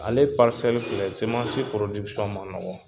Ale filɛ semansi man nɔgɔn.